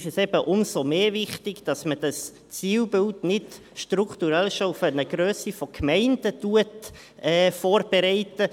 Dann ist es eben umso mehr wichtig, dass man dieses Zielbild nicht strukturell schon auf eine Grösse von Gemeinden vorbereitet.